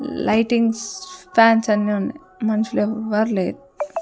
Lightings fans అన్నీ ఉన్నాయ్ మనుషులెవ్వర్ లేరు.